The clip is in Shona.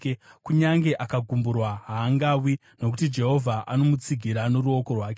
kunyange akagumburwa, haangawi, nokuti Jehovha anomutsigira noruoko rwake.